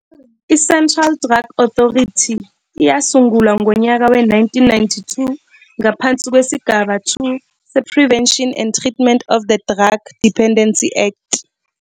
ICentral Drug Authority, yasungulwa ngonyaka we-1992, ngaphansi kwesigaba 2 se-Prevention and Treatment of the Drug Dependency Act.